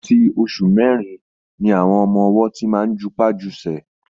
Àti oṣù mẹ́rin làwọn ọmọ-ọwọ́ ti máa ń jupá jusẹ̀